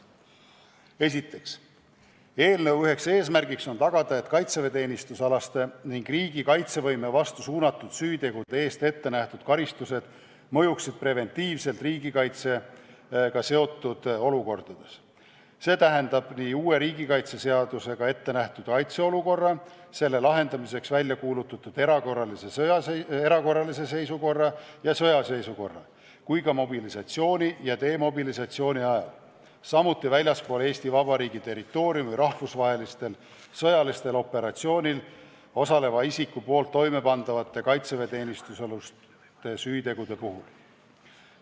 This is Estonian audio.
Esiteks, eelnõu üheks eesmärgiks on tagada, et kaitseväeteenistusalaste ning riigi kaitsevõime vastu suunatud süütegude eest ettenähtud karistused mõjuksid preventiivselt riigikaitsega seotud olukordades, st nii uue riigikaitseseadusega ettenähtud kaitseolukorra, selle lahendamiseks välja kuulutatud erakorralise seisukorra ja sõjaseisukorra kui ka mobilisatsiooni ja demobilisatsiooni ajal, samuti väljaspool Eesti Vabariigi territooriumi rahvusvahelistel sõjalistel operatsioonidel osaleva isiku poolt toimepandavate kaitseväeteenistusalaste süütegude puhul.